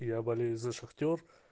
я болею за шахтёр